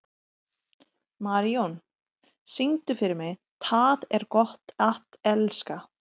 Marijón, syngdu fyrir mig „Tað er gott at elska“.